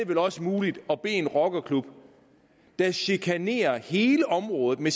vel også muligt at bede en rockerklub der chikanerer hele området med